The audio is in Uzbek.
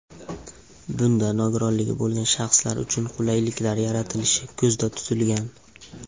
Bunda nogironligi bo‘lgan shaxslar uchun qulayliklar yaratilishi ko‘zda tutilgan.